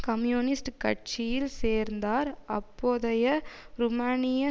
communist கட்சியில் சேர்ந்தார் அப்போதைய ருமேனிய